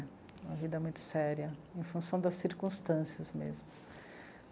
Uma vida muito séria, em função das circunstâncias mesmo.